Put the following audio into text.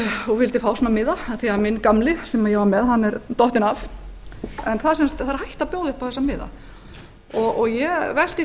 og vildi fá svona miða af því að minn gamli sem ég var með er dottinn af en það er hætt að bjóða upp á eða miða ég velti